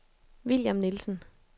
William Nielsen